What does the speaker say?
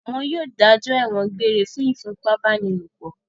Wọn yóò dájọ́ ẹ̀wọ̀n egbére fún ìfipábánilòpọ̀!